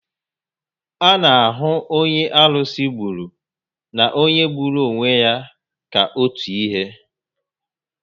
A na ahụ onye arusi gburu na onye gburu onwe ya ka otu ihe